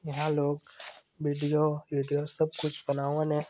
यहाँ लोग वीडियो एडीओ सब कुछ बनावल है।